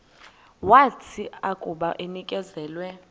wathi akuba enikezelwe